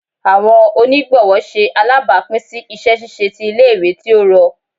Awọn onigbọwọ ṣe alabapin si iṣẹ ṣiṣe ti ile-iwe ti o rọ